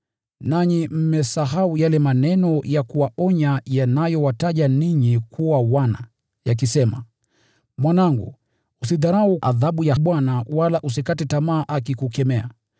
Nanyi mmesahau yale maneno ya kuwaonya yanayowataja ninyi kuwa wana, yakisema: “Mwanangu, usidharau adhabu ya Bwana, wala usikate tamaa akikukemea,